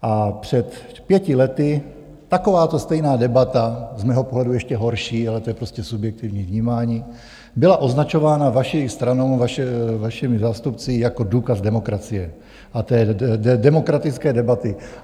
A před pěti lety takováto stejná debata, z mého pohledu ještě horší, ale to je prostě subjektivní vnímání, byla označována vaší stranou, vašimi zástupci, jako důkaz demokracie a té demokratické debaty.